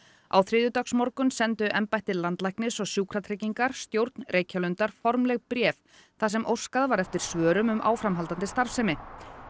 á þriðjudagsmorgun sendu embætti landlæknis og Sjúkratryggingar stjórn Reykjalundar formlegt bréf þar sem óskað var eftir svörum um áframhaldandi starfsemi